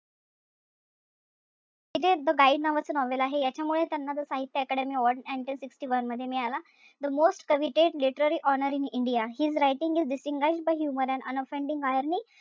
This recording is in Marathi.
द गाईड नावाचं novel आहे, याच्यामुळे त्यांना जो Sahitya Akademi award nineteen sixty one मध्ये मिळाला. The most committed literary honor in India, He is writing his humor by unoffending irony,